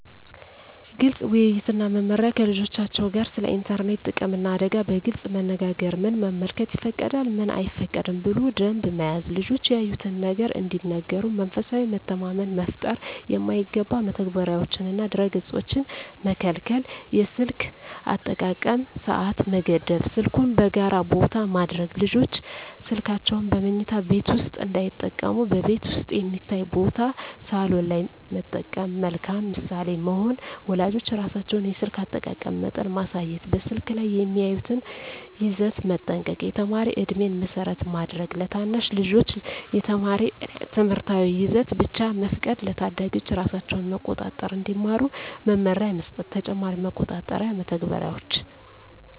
ግልፅ ውይይት እና መመሪያ ከልጆቻቸው ጋር ስለ ኢንተርኔት ጥቅምና አደጋ በግልፅ መነጋገር ምን መመልከት ይፈቀዳል፣ ምን አይፈቀድም ብሎ ደንብ መያዝ ልጆች ያዩትን ነገር እንዲነግሩ መንፈሳዊ መተማመን መፍጠር የማይገባ መተግበሪያዎችንና ድረ-ገፆችን መከልከል የስልክ አጠቃቀም ሰዓት መገደብ ስልኩን በጋራ ቦታ ማድረግ ልጆች ስልካቸውን በመኝታ ቤት ውስጥ እንዳይጠቀሙ በቤት ውስጥ የሚታይ ቦታ (ሳሎን) ላይ መጠቀም መልካም ምሳሌ መሆን ወላጆች ራሳቸው የስልክ አጠቃቀም መጠን ማሳየት በስልክ ላይ የሚያዩትን ይዘት መጠንቀቅ የተማሪ ዕድሜን መሰረት ማድረግ ለታናሽ ልጆች የተማሪ ትምህርታዊ ይዘት ብቻ መፍቀድ ለታዳጊዎች ራሳቸውን መቆጣጠር እንዲማሩ መመሪያ መስጠት ተጨማሪ መቆጣጠሪያ መተግበሪያዎች